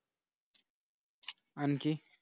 आणखी